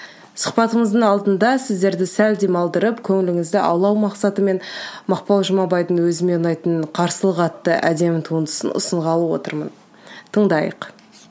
сұхбатымыздың алдында сіздерді сәл демалдырып көңіліңізді аулау мақсатымен мақпал жұмабайдың өзіме ұнайтын қарсылық атты әдемі туындысын ұсынғалы отырмын тыңдайық